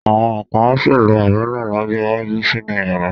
Àwọn kan á sì lo Àbẹ́lá lọ́jọ́ iwájú sínú yàrá.